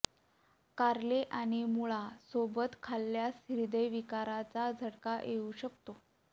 कारले आणि मुळा सोबत खाल्यास हृदयविकाराचा झटका येऊ शकतो